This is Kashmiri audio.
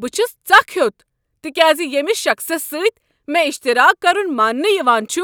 بہٕ چھس ژکھ ہوٚت تکیاز ییمِس شخصس سۭتۍ مےٚ اشتراک کرُن مانٛنہٕ یوان چھُ